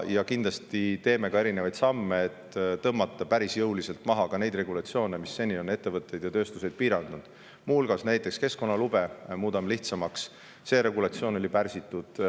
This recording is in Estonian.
Astume ka samme selle nimel, et tõmmata päris jõuliselt maha regulatsioone, mis seni on ettevõtteid ja tööstuseid piiranud, muu hulgas muudame lihtsamaks keskkonnalubade saamist, see regulatsioon oli seni pärsitud.